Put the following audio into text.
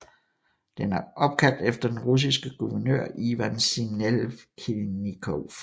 Den er opkaldt efter den russiske guvernør Ivan Sinelnikov